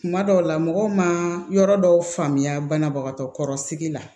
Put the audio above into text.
Kuma dɔw la mɔgɔw ma yɔrɔ dɔw faamuya banabagatɔ kɔrɔ sigi la